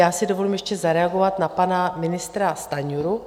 Já si dovolím ještě zareagovat na pana ministra Stanjuru.